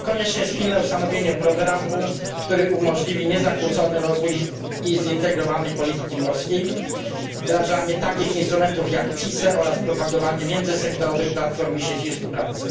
konieczne jest pilne ustanowienie programu, który umożliwi niezakłócony rozwój zintegrowanej polityki morskiej, wdrażanie takich instrumentów jak CISE oraz propagowanie międzysektorowych platform i sieci współpracy.